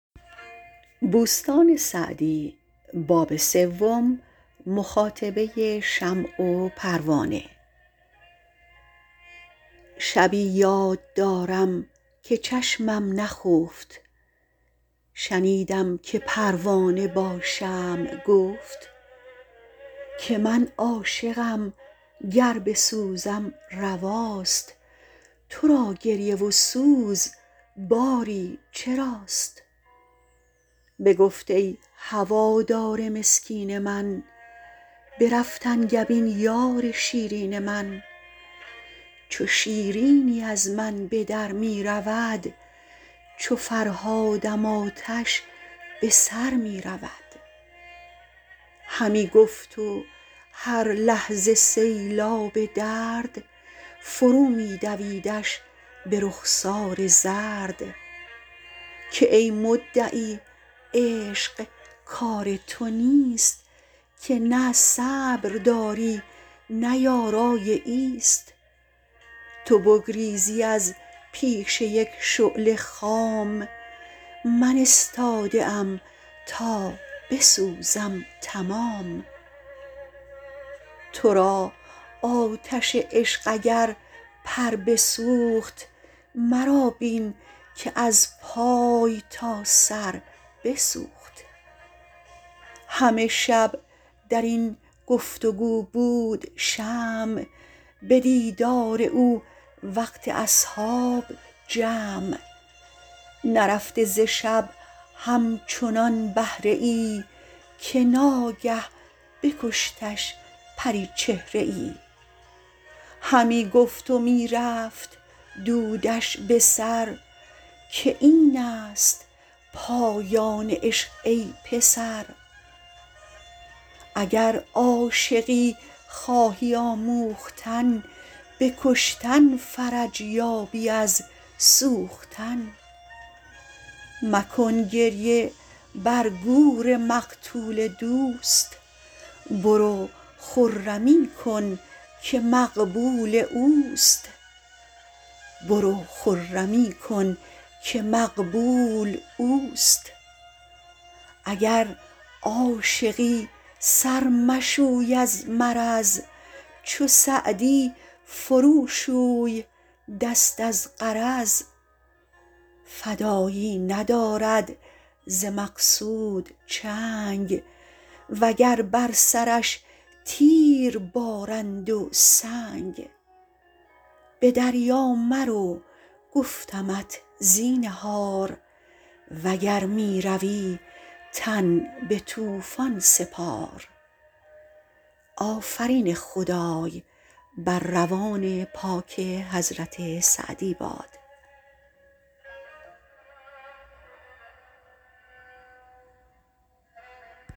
شبی یاد دارم که چشمم نخفت شنیدم که پروانه با شمع گفت که من عاشقم گر بسوزم رواست تو را گریه و سوز باری چراست بگفت ای هوادار مسکین من برفت انگبین یار شیرین من چو شیرینی از من به در می رود چو فرهادم آتش به سر می رود همی گفت و هر لحظه سیلاب درد فرو می دویدش به رخسار زرد که ای مدعی عشق کار تو نیست که نه صبر داری نه یارای ایست تو بگریزی از پیش یک شعله خام من استاده ام تا بسوزم تمام تو را آتش عشق اگر پر بسوخت مرا بین که از پای تا سر بسوخت همه شب در این گفت و گو بود شمع به دیدار او وقت اصحاب جمع نرفته ز شب همچنان بهره ای که ناگه بکشتش پریچهره ای همی گفت و می رفت دودش به سر که این است پایان عشق ای پسر اگر عاشقی خواهی آموختن به کشتن فرج یابی از سوختن مکن گریه بر گور مقتول دوست برو خرمی کن که مقبول اوست اگر عاشقی سر مشوی از مرض چو سعدی فرو شوی دست از غرض فدایی ندارد ز مقصود چنگ و گر بر سرش تیر بارند و سنگ به دریا مرو گفتمت زینهار وگر می روی تن به طوفان سپار